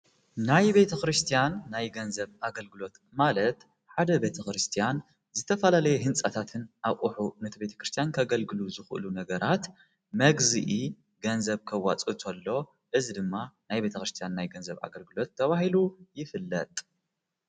ናይ ቤተ ክርስቲያን ናይ ገንዘብ ኣገልግሎት ማለት ሓደ ቤተ ክርስቲያን ዝተፋላለየ ሕንጻታትን ኣቝሑት ነቲ ቤተ ክርስቲያን ከገልግሉ ዝኽእሉ ነገራት መግዚኢ ገንዘብ ከዋጽ እቶሎ እዝ ድማ ናይ ቤተ ክርስቲያን ናይ ገንዘብ ኣገልግሎት ተብሂሉ ይፍለጥ።